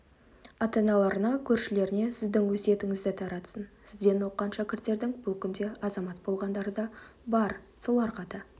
ата-аналарына көршілеріне сіздің өсиетіңізді таратсын сізден оқыған шәкірттердің бұл күнде азамат болғандары да бар соларға да